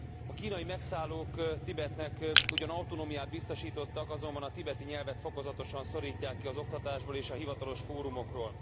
A kínai megszállók Tibetnek ugyan autonómiát biztosítottak, azonban a tibeti nyelvet fokozatosan szorítják ki az oktatásból és a hivatalos fórumokról.